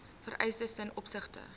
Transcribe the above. vereistes ten opsigte